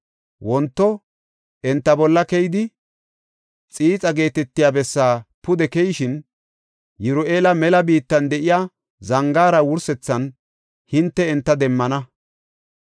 Wonto enta bolla keyidi Xiixa geetetiya bessaa pude keyishin Yiru7eela mela biittan de7iya zangaara wursethan hinte enta demmana.